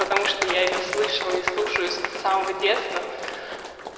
потому что я её слышала и слушаю с самого детства